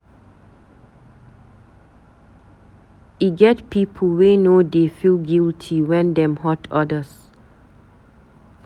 E get pipu wey no dey feel guity wen dem hurt odas.